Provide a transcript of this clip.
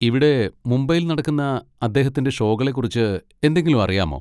ഇവിടെ മുംബൈയിൽ നടക്കുന്ന അദ്ദേഹത്തിന്റെ ഷോകളെക്കുറിച്ച് എന്തെങ്കിലും അറിയാമോ?